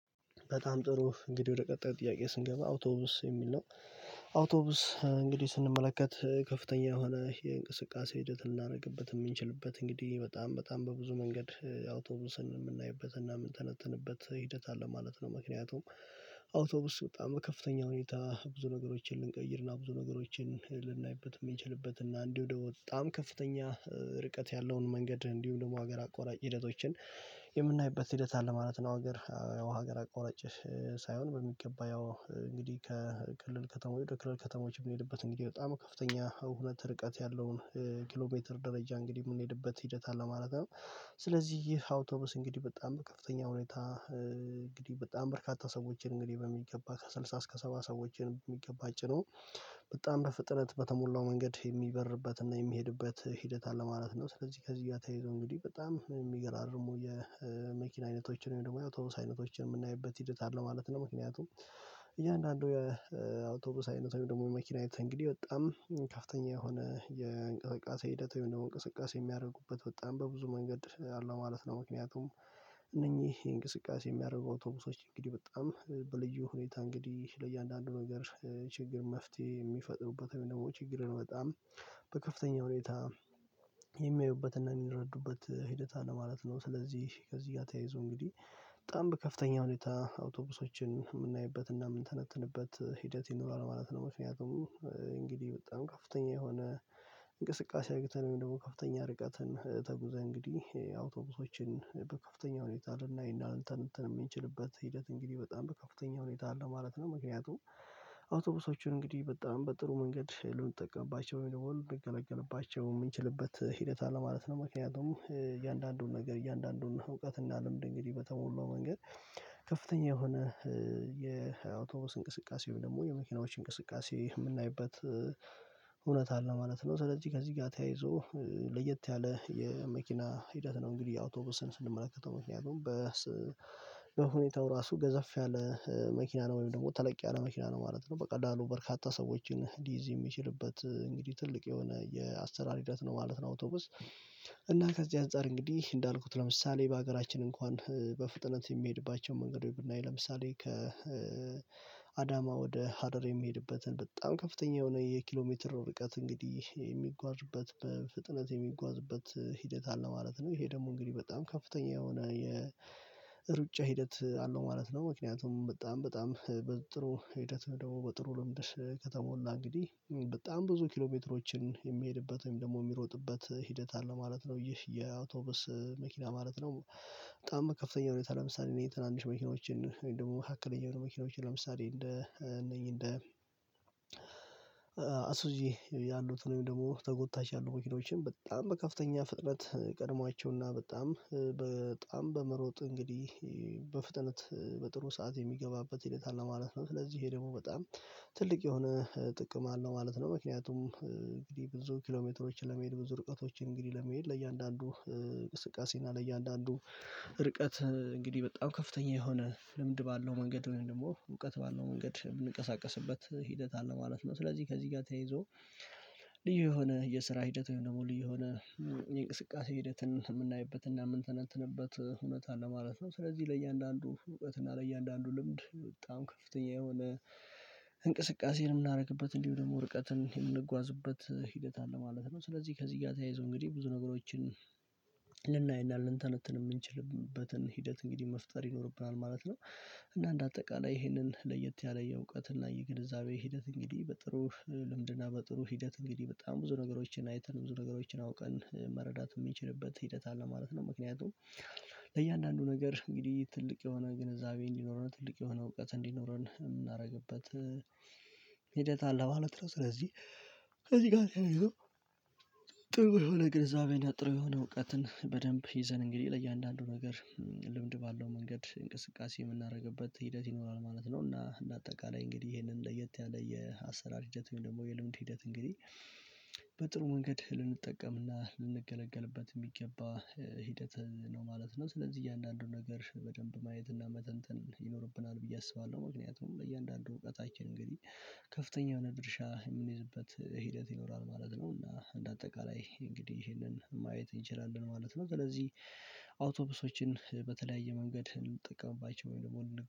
በጣም ጥሩ እንግዲህ ወደ ቀጣይ ጥያቄ ስንገባ አውቶብስ የሚል ነው። አውቶብስ እንግዲህ ስንመለከት ከፍተኛ የሆነ የእንቅስቃሴ ሂደት ልናደርግበት የምንችልበት እንግዲህ በጣም በጣም በብዙ መንገድ አውቶብስን የምናይበት የምንተነትንበት ሂደት አለ ማለት ነው። ምክንያቱም አውቶብስ በጣም ከፍተኛ ሁኔታ ብዙ ነገሮችን ልንቀይርና ብዙ ነገሮችን ልናይበት የሚችልበት እና እንዲሁ ደግሞ በጣም ከፍተኛ ርቀት ያለውን መንገድ እንዲሁም ደግሞ ሀገር አቆራጭ ሂደቶችን የምናይበት ሂደት አለ ማለት ነው። ሀገር ያው ሀገር አቆራጭ ሳይሆን በሚገባ ያው እንግዲህ ከክልል ከተማ ወደ ክልል ከተማዎች የምንሄድበት እንግዲህ በጣም ከፍተኛ ሁነት ርቀት ያለውን ኪሎ ሜትር ደረጃ እንግዲህ የምንሄድበት ሂደት አለ ማለት ነው። ስለዚህ ይህ አውቶብስ እንግዲህ በጣም በከፍተኛ ሁኔታ እንግዲህ በጣም በርካታ ሰዎችን እንግዲህ በሚገባ ከስድሳ እስከ ሰባ ሰዎችን በሚገባ ጭኖ በጣም በፍጥነት በተሞላው መንገድ የሚበርበትና የሚሄድበት ሂደት አለ ማለት ነው። ስለዚህ ከዚህ ጋ ተያይዞ እንግዲህ በጣም የሚገራርሙ የመኪና አይነቶችን ወይም ደግሞ የአውቶብስ አይነቶችን የምናይበት ሂደት አለ ማለት ነው። ምክንያቱም እያንዳንዱ የአውቶብስ አይነት ወይም ደግሞ መኪና አይነት እንግዲህ በጣም ከፍተኛ የሆነ የእንቅስቃሴ ሂደት ወይም ደግሞ እንቅስቃሴ የሚያደርጉበት በጣም በብዙ መንገድ አለው ማለት ነው። ምክንያቱም እነኚህ እንቅስቃሴ የሚያደርጉ አውቶብሶች እንግዲህ በጣም በልዩ ሁኔታ እንግዲህ ለእያንዳንዱ ነገር ችግር መፍትሄ የሚፈጥሩበት ወይም ደግሞ ችግርን በጣም በከፍተኛ ሁኔታ የሚያዩበትና የሚረዱበት ሂደት አለ ማለት ነው። ስለዚህ ከዚህ ጋር ተያይዞ እንግዲህ በጣም በከፍተኛ ሁኔታ አውቶብሶችን የምናይበት እና የምንተነትንበት ሂደት ይኖራል ማለት ነው። ምክንያቱም እንግዲህ በጣም ከፍተኛ የሆነ እንቅስቃሴ አግኝተን ወይም ደግሞ ከፍተኛ ርቀትን ተጉዘን እንግዲህ አውቶብሶችን በከፍተኛ ሁኔታ እንትን እንትን የምንችልበት ሂደት እንግዲህ በጣም በከፍተኛ ሁኔታ አለ ማለት ነው። ምክንያቱም አውቶብሶቹን እንግዲህ በጣም በጥሩ መንገድ ልንጠቀምባቸው ወይም ደግሞ የምንገለገልባቸው የምንችልበት ሂደት አለ ማለት ነው። ምክንያቱም እያንዳንዱን ነገር እያንዳንዱን እውቀት እና ልምድ እንግዲህ በተሞላው መንገድ ከፍተኛ የሆነ የአውቶብስ እንቅስቃሴው ደግሞ የመኪናዎች እንቅስቃሴ የምናይበት እውነት አለ ማለት ነው። ስለዚህ ከዚህ ጋር ተያይዞ ለየት ያለ የመኪና ሂደት ነው። እንግዲህ አውቶብስን ስንመለከተው ምክንያቱም በሁኔታው ራሱ ገዘፍ ያለ መኪና ነው ወይም ደግሞ ተለቂያ ነው መኪና ነው ማለት ነው። በቀላሉ በርካታ ሰዎችን ሊይዝ የሚችልበት እንግዲህ ትልቅ የሆነ የአሰራር ሂደት ነው ማለት ነው። አውቶቡስ እና ከዚህ አንፃር እንግዲህ እንዳልኩት ለምሳሌ በሀገራችን እንኳን በፍጥነት የሚሄድባቸው መንገዱ ብናይ ለምሳሌ ከአዳማ ወደ ሀረር የሚሄድበትን በጣም ከፍተኛ የሆነ የኪሎ ሜትር ርቀት እንግዲህ የሚጓዝበት በፍጥነት የሚጓዝበት ሂደት አለ ማለት ነው። ይሄ ደግሞ እንግዲህ በጣም ከፍተኛ የሆነ የሩጫ ሂደት አለው ማለት ነው። ምክንያቱም በጣም በጣም በጥሩ ሂደት ደግሞ በጥሩ ልምድሽ ከተሞላ እንግዲህ በጣም ብዙ ኪሎሜትሮችን የሚሄድበት ወይም ደግሞ የሚሮጥበት ሂደት አለ ማለት ነው። ይህ የአውቶብስ መኪና ማለት ነው። በጣም ከፍተኛ ሁኔታ ለምሳሌ የተናንሽ መኪኖችን ደግሞ መካከለኛ ለመኪናዬ ለምሳሌ እንደ እነኚህ እንደ ያሉትን ደግሞ ተጎታች ያሉ መኪናዎችን በጣም በከፍተኛ ፍጥነት ቀድሟቸውና በጣም በጣም በመሮጥ እንግዲህ በፍጥነት በጥሩ ሰዓት የሚገባበት ሂደት አለ ማለት ነው። ስለዚህ ይሄ ደግሞ በጣም ትልቅ የሆነ ጥቅም አለው ማለት ነው። ምክንያቱም እንግዲህ ብዙ ኪሎሜትሮችን ለመሄድ ብዙ ርቀቶችን እንግዲህ ለመሄድ ለእያንዳንዱ ቅስቃሴና ለእያንዳንዱ ርቀት እንግዲህ በጣም ከፍተኛ የሆነ ልምድ ባለው መንገድ እኔ ደግሞ እውቀት ባለው መንገድ ብንቀሳቀስበት ሂደት አለ ማለት ነው። ስለዚህ ከዚህ ጋር ተያይዞ ልዩ የሆነ የስራ ሂደት ወይም ደግሞ ልዩ የሆነ የእንቅስቃሴ ሂደትን የምናይበትና የምንተነተንበት እውነት አለ ማለት ነው። ስለዚህ ለእያንዳንዱ እውቀትና ለእያንዳንዱ ልምድ በጣም ከፍተኛ የሆነ እንቅስቃሴንም የምናደርግበት እንዲሁ ደግሞ ርቀትን የምንጓዝበት ሂደት አለ ማለት ነው። ስለዚህ ከዚህ ጋር ተያይዞ እንግዲህ ብዙ ነገሮችን ልናይ እንዳለ ልንተነትን የምንችልበትን ሂደት እንግዲህ መፍጠር ይኖርብናል ማለት ነው። እና እንደ አጠቃላይ ይህንን ለየት ያለ የእውቀት እና የገንዘብ ሂደት እንግዲህ በጥሩ በጥሩ ሂደት እንግዲህ በጣም ብዙ ነገሮችን አይተን ብዙ ነገሮችን አውቀን መረዳት የሚችልበት ሂደት አለ ማለት ነው። ምክንያቱም ለእያንዳንዱ ነገር እንግዲህ ትልቅ የሆነ ግንዛቤ እንዲኖረን ትልቅ የሆነ እውቀት እንዲኖረን የምናደርግበት ሂደት አለ ባለት ስለዚህ። ከዚህ ጋር ተያይዞ ጥሩ የሆነ ግርዛቤ እና ጥሩ የሆነ እውቀትን በደንብ ይዘን እንግዲህ ለእያንዳንዱ ነገር ልምድ ባለው መንገድ እንቅስቃሴ የምናደርግበት ሂደት ይኖራል ማለት ነው። እና እንደ አጠቃላይ እንግዲህ ይሄንን ለየት ያለ የአሰራር ሂደት ወይም ደግሞ የልምድ ሂደት እንግዲህ በጥሩ መንገድ ልንጠቀምና ልንገለገልበት የሚገባ ሂደት ነው ማለት ነው። ስለዚህ እያንዳንዱን ነገር በደንብ ማየት እና መተንተን ይኖርብናል ብዬ አስባለሁ። ምክንያቱም ለእያንዳንዱ እውቀታችን እንግዲህ ከፍተኛ የሆነ ድርሻ የሚይዝበት ሂደት ይኖራል ማለት ነው። እና እንደ አጠቃላይ እንግዲህ ይሄንን ማየት እንችላለን ማለት ነው። ስለዚህ አውቶብሶችን በተለያየ መንገድ ልንጠቀምባቸው ወይም ደግሞ